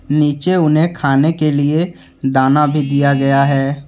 नीचे उन्हें खाने के लिए दाना भी दिया गया है।